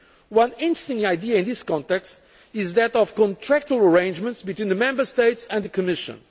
One interesting idea in this context is that of contractual arrangements between the Member States and the Commission.